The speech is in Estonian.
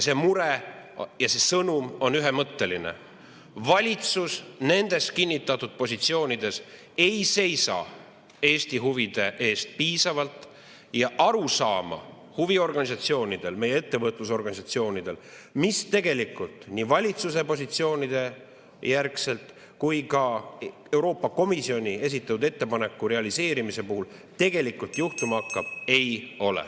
See mure ja see sõnum on ühemõtteline: valitsus nendes kinnitatud positsioonides ei seisa Eesti huvide eest piisavalt ja huviorganisatsioonidel, meie ettevõtlusorganisatsioonidel pole arusaama, mis tegelikult nii valitsuse positsioonide järgselt kui ka Euroopa Komisjoni esitatud ettepaneku realiseerimise puhul tegelikult juhtuma hakkab.